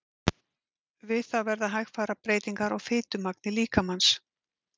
Við það verða hægfara breytingar á fitumagni líkamans.